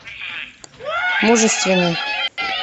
мужественный